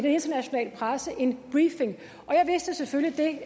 internationale presse en briefing og jeg vidste selvfølgelig